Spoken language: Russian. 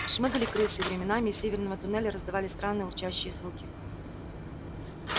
шмыгали крысы и временами из северного туннеля раздавались странные урчащие звуки